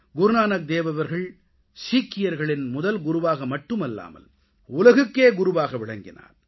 குருநானக் தேவ் அவர்கள் சீக்கியர்களின் முதல் குருவாக மட்டுமில்லாமல் உலகுக்கே குருவாக விளங்கினார்